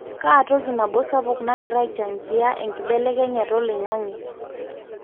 kaa toki nabo sapuk nagira aichangia enkibelekenyata oloingange?